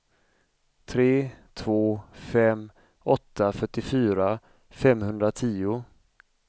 tre två fem åtta fyrtiofyra femhundratio